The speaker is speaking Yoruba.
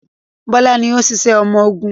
Bọ́lá ni ó ń ṣiṣẹ́ ọmọgun.